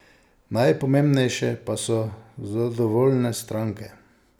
Najpomembnejše pa so zadovoljne stranke.